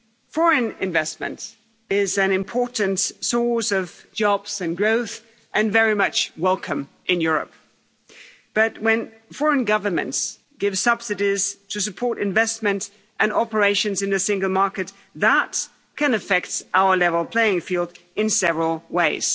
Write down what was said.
Foreign investment is an important source of jobs and growth and very much welcome in Europe, but when foreign governments give subsidies to support investment and operations in the single market, that can affect our level playing field in several ways.